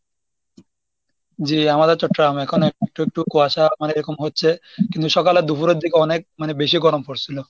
জি আমাদের তো term এখন একটু একটু কুয়াশা মানে এরকম হচ্ছে কিন্তু সকালে দুপুরের দিকে অনেক মানে বেশি গরম পরছিল।